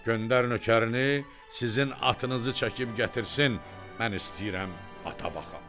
Göndər nökərini, sizin atınızı çəkib gətirsin, mən istəyirəm ata baxam."